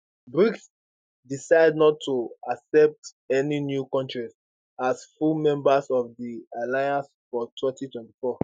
brics decide not to accept any new kontries as full members of di alliance for 2024